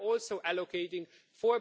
We are also allocating EUR